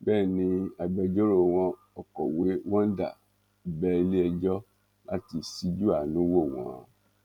bẹ́ẹ̀ ni agbẹjọ́rò wọn ọ̀kọ̀wé wonder bẹ iléẹjọ́ láti ṣíjú àánú wò wọ́n